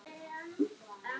Hvenær áttu afmæli vinur?